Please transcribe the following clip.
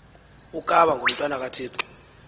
ukaba ngumntwana kathixo